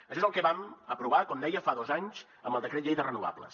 això és el que vam aprovar com deia fa dos anys amb el decret llei de renovables